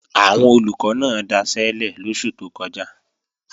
Àwọn Olùkọ́ náà daṣẹ́lẹ̀ lóṣù tó kọjá